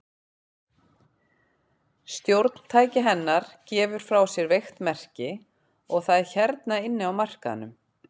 Stjórntæki hennar gefur frá sér veikt merki, og það er hérna inni á markaðnum.